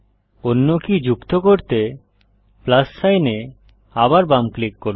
অন্য কী যুক্ত করতে প্লাস সাইন এ আবার বাম ক্লিক করুন